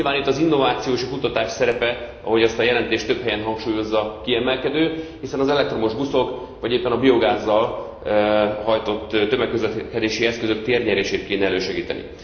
Nyilván itt az innováció és a kutatás szerepe ahogy ezt a jelentés több helyen hangsúlyozza kiemelkedő, hiszen az elektromos buszok, vagy éppen a biogázzal hajtott tömegközlekedési eszközök térnyerését kéne elősegíteni.